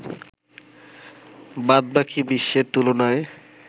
বাদবাকি বিশ্বের তুলনায়